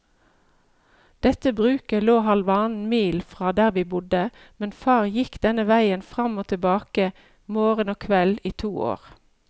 Dette bruket lå halvannen mil fra der vi bodde, men far gikk denne veien fram og tilbake morgen og kveld i to år.